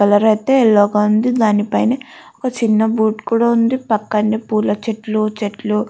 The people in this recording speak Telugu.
కలర్ అయితే యెల్లో గా ఉంది. దాని పైన ఒక చిన్న కూడా ఉంది పక్కనే పూల చెట్లు--